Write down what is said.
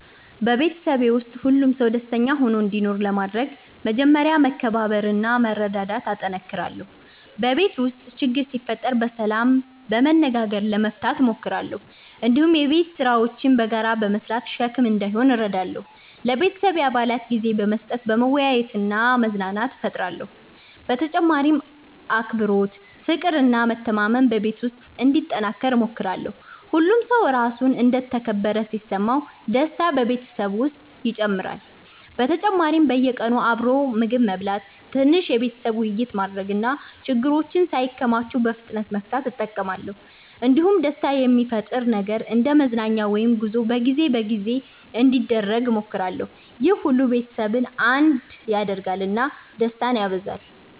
በቤተሰቤ ውስጥ ሁሉም ሰው ደስተኛ ሆኖ እንዲኖር ለማድረግ መጀመሪያ መከባበርና መረዳዳት እጠነክራለሁ። በቤት ውስጥ ችግር ሲፈጠር በሰላም በመነጋገር መፍታት እሞክራለሁ። እንዲሁም የቤት ስራዎችን በጋራ በመስራት ሸክም እንዳይሆን እረዳለሁ። ለቤተሰቤ አባላት ጊዜ በመስጠት መወያየትና መዝናናት እፈጥራለሁ። በተጨማሪም አክብሮት፣ ፍቅር እና መተማመን በቤት ውስጥ እንዲጠናከር እሞክራለሁ። ሁሉም ሰው ራሱን እንደ ተከበረ ሲሰማ ደስታ በቤተሰብ ውስጥ ይጨምራል። በተጨማሪም በየቀኑ አብሮ ምግብ መብላት፣ ትንሽ የቤተሰብ ውይይት ማድረግ እና ችግሮችን ሳይከማቹ በፍጥነት መፍታት እጠቀማለሁ። እንዲሁም ደስታ የሚፈጥር ነገር እንደ መዝናኛ ወይም ጉዞ በጊዜ በጊዜ እንዲደረግ እሞክራለሁ። ይህ ሁሉ ቤተሰቡን አንድነት ያደርጋል እና ደስታን ያበዛል።